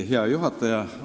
Hea juhataja!